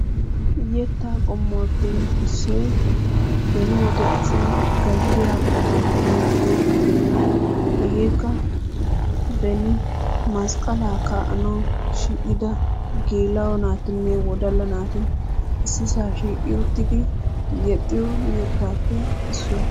Yettay qommuwappe issoy beni wode asay gazziya bootan yexxiyo yetta. Hegeekka beni masqqaalaa kaa'anawu shiiqqida geela'o naatinne wodalla naati issi sohuwa shiiqi uttidi yexxiyo yettappe issuwa.